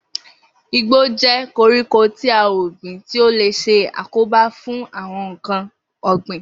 Igbó jé̩ koríko ti à ò gbìn tí ó lè s̩e àkóbá fún àwo̩n nǹkan ò̩gbìn